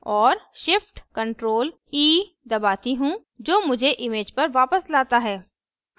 और shift + ctrl + e दबाती हूँ जो मुझे image पर वापस लाता है